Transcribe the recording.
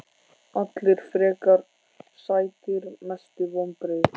Allir frekar sætir Mestu vonbrigði?